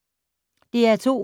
DR2